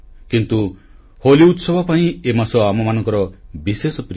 କିନ୍ତୁ ହୋଲି ଉତ୍ସବ ପାଇଁ ଏ ମାସ ଆମମାନଙ୍କର ବିଶେଷ ପ୍ରିୟ